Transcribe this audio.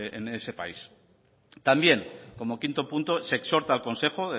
en ese país también como quinto punto se exhorta al consejo